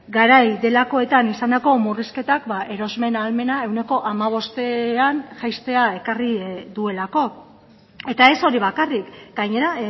garai delakoetan izandako murrizketak erosmen ahalmena ehuneko hamabostean jaistea ekarri duelako eta ez hori bakarrik gainera